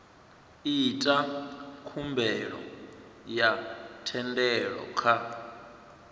ita khumbelo ya thendelo kha